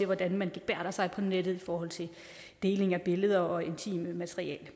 hvordan man gebærder sig på nettet i forhold til deling af billeder og intimt materiale